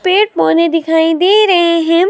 पेड़ पौधे दिखाई दे रहे हैं।